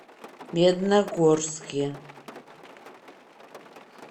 медногорске